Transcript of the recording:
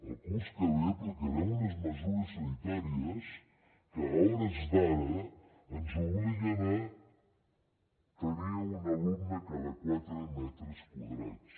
el curs que ve aplicarem unes mesures sanitàries que a hores d’ara ens obliguen a tenir un alumne a cada quatre metres quadrats